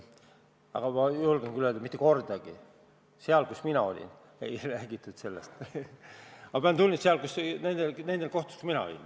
Igal juhul ma julgen öelda, et seal, kus mina olin, ei räägitud sellest mitte kordagi – nendel kohtumistel, kus mina olin.